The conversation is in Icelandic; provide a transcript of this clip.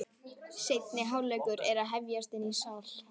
Seinni hálfleikur er að hefjast inni í sal.